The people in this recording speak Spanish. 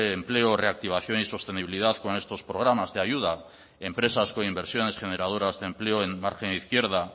empleo reactivación y sostenibilidad con estos programas de ayuda empresas con inversiones generadoras de empleo en margen izquierda